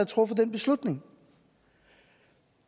truffet den beslutning